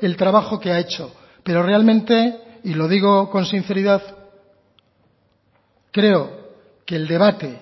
el trabajo que ha hecho pero realmente y lo digo con sinceridad creo que el debate